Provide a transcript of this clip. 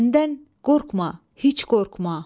Bəndən qorqma, heç qorqma.